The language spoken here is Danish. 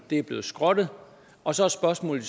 er blevet skrottet og så er spørgsmålet